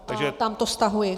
A tamto stahuji.